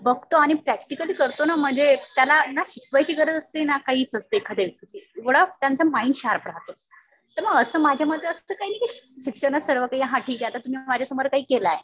बघतो आणि प्रॅक्टिकली करतो ना म्हणजे त्याला ना शिकवायची गरज असते ना काहीच असते एखाद्या व्यक्तीची. एवढं त्यांचं माईंड शार्प राहतं. तर मग असं माझ्या मते असत कि शिक्षणच सर्व काही. हा आता तुम्ही माझ्या समोर काही केलंय.